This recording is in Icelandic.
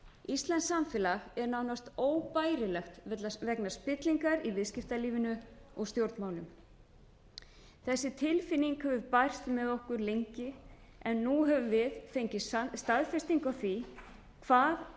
íslenskt samfélag er nánast óbærilegt vegna spillingar í viðskiptalífinu og stjórnmálum þessi tilfinning hefur bærst með okkur lengi en nú höfum við fengið staðfestingu á því hvað